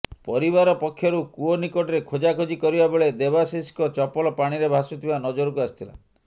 ପରିବାର ପକ୍ଷରୁ କୂଅ ନିକଟରେ ଖୋଜାଖୋଜି କରିବା ବେଳେ ଦେବାଶିଷଙ୍କ ଚପଲ ପାଣିରେ ଭାସୁଥିବା ନଜରକୁ ଆସିଥିଲା